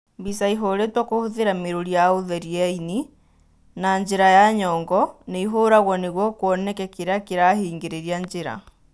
Mbica ĩhũrĩtwo kũhũthĩra mĩrũri ya ũtheri ya ĩni na njĩra ya nyongo nĩ ĩhũragwo nĩguo kũoneke kĩrĩa kĩrahingĩrĩria njĩra.